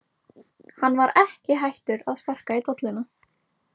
Hann var ekki hættur að sparka í dolluna!